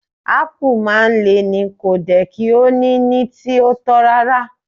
Apu maa n Le ni, ko de ki o ni ni ti o to rara